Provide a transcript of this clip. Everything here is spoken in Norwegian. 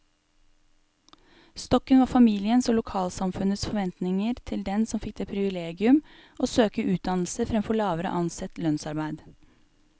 Stokken var familiens og lokalsamfunnets forventninger til den som fikk det privilegium å søke utdannelse fremfor lavere ansett lønnsarbeid.